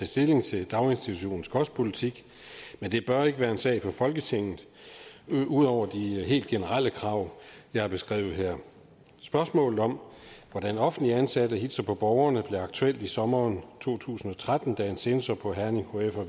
stilling til daginstitutionernes kostpolitik men det bør ikke være en sag for folketinget ud over de generelle krav jeg har beskrevet her spørgsmålet om hvordan offentligt ansatte hilser på borgerne blev aktuelt i sommeren to tusind og tretten da en censor på herning hf og